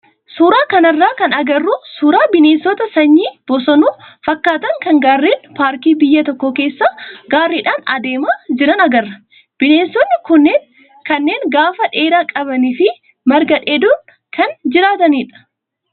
Suuraa kanarraa kan agarru suuraa bineensota sanyii bosonuu fakkaatan kan gareen paarkii biyya tokkoo keessa gareedhaan adeemaa jiran agarra. Bineensonni kunneen kanneen gaafa dheeraa qabanii fi marga dheeduun kan jiraatanidha.